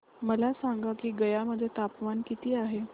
मला सांगा की गया मध्ये तापमान किती आहे